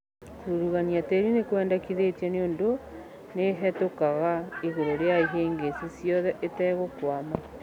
kũrugunia tĩri nĩkwendekithĩtio nĩũndũ nĩĩhetũkaga igũrũ rĩa ihĩngĩcĩ ciothe ĩtegũkwama